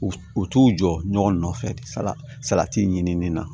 U u t'u jɔ ɲɔgɔn nɔfɛ salati ɲinini na